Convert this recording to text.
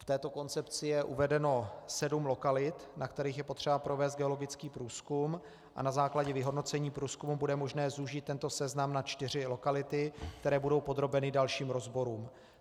V této koncepci je uvedeno sedm lokalit, na kterých je potřeba provést geologický průzkum, a na základě vyhodnocení průzkumu bude možné zúžit tento seznam na čtyři lokality, které budou podrobeny dalším rozborům.